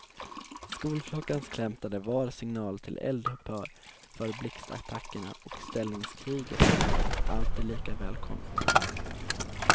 Skolklockans klämtande var signal till eld upphör för blixtattackerna och ställningskriget och alltid lika välkommet.